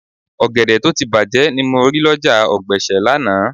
Ọ̀gẹ̀dẹ̀ tó ti bàjé ni mo rí lọ́jà ọ̀gbẹ̀sẹ̀ lánàá